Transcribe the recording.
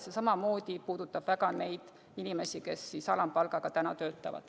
See samamoodi puudutab väga neid inimesi, kes alampalgaga töötavad.